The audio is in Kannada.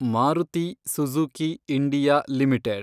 Maruti Suzuki India limited